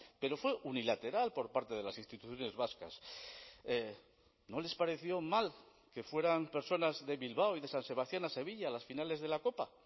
pero fue unilateral por parte de las instituciones vascas no les pareció mal que fueran personas de bilbao y de san sebastián a sevilla a las finales de la copa